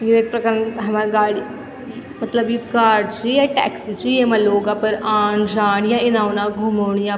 यु एक प्रकारन हमर गाडी मतलब यु कार च य टैक्सी च येमा लोग अपर आन जाण या इना उना घुमुण या --